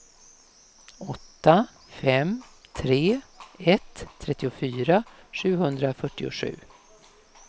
åtta fem tre ett trettiofyra sjuhundrafyrtiosju